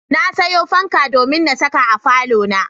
Na sayo fanka domin na saka a falona.